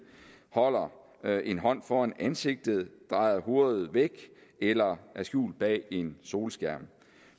holder en hånd foran ansigtet drejer hovedet væk eller er skjult bag en solskærm